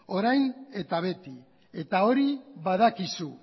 orain eta beti eta hori badakizu